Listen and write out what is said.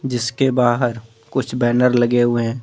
जिसके बाहर कुछ बेनर लगे हुए है ।